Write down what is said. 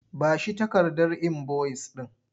Ba shi takardar inboyis ɗin!